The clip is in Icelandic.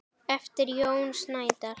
eftir Jón Snædal